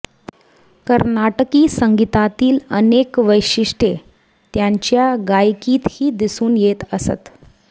कर्नाटकी संगीतातील अनेक वैशिष्ट्ये त्यांच्या गायकीतही दिसून येत असत